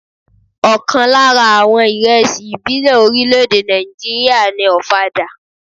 Ọ̀kan lára àwọn ìrẹsì ìbílẹ̀ orílè-èdè Ná̀ìjíríà ni ọ̀fadà.